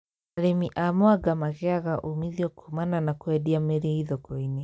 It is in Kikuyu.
Arĩmi a mwanga magĩaga umithio kumana na kwendia mĩrĩ thoko-inĩ